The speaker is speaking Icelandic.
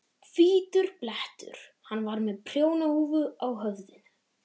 Hvítur blettur. hann var með prjónahúfu á höfðinu.